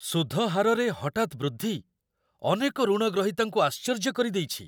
ସୁଧ ହାରରେ ହଠାତ୍ ବୃଦ୍ଧି ଅନେକ ଋଣଗ୍ରହୀତାଙ୍କୁ ଆଶ୍ଚର୍ଯ୍ୟ କରିଦେଇଛି।